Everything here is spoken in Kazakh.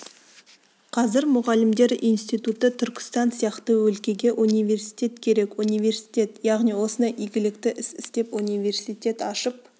қазір мұғалімдер институты түркістан сияқты өлкеге университет керек университет яғни осындай игілікті іс істеп университет ашып